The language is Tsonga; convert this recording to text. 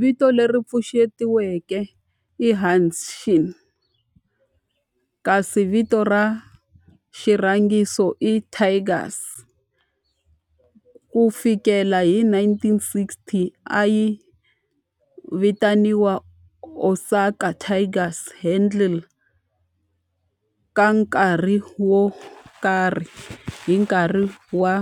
Vito leri pfuxetiweke i Hanshin kasi vito ra xirhangiso i Tigers. Ku fikela hi 1960, a yi vitaniwa Osaka Tigers handle ka nkarhi wo karhi hi nkarhi wa